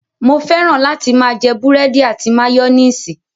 Mo fẹ́ràn láti máa jẹ búrẹ́dì àti máyónísì.